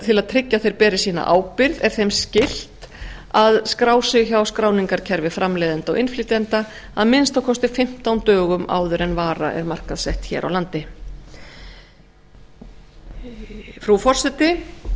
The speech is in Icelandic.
til að tryggja að þeir beri sína ábyrgð er þeim skylt að skrá sig hjá skráningarkerfi framleiðenda og innflytjenda að minnsta kosti fimmtán dögum áður en vara er markaðssett hér á landi frú forseti